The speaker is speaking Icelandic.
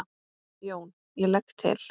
JÓN: Ég legg til.